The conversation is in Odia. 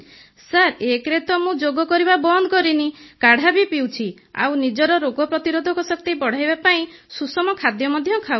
ସାର୍ ଏକରେ ତ ମୁଁ ଯୋଗ କରିବା ବନ୍ଦ କରିନି କାଢ଼ା ବି ପିଉଛି ଆଉ ନିଜର ରୋଗ ପ୍ରତିରୋଧକ ଶକ୍ତି ବଢ଼ାଇବା ପାଇଁ ସୁଷମ ଖାଦ୍ୟ ମଧ୍ୟ ଖାଉଛି